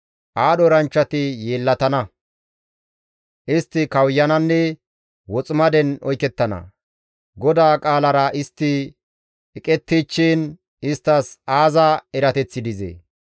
Aadho eranchchati yeellatana; istti kawuyananne woximaden oykettana. GODAA qaalara istti eqettichchiin isttas aaza erateththi dizee?